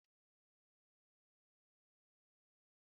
Nna m na-akọrọ anyị akụkọ n'abalị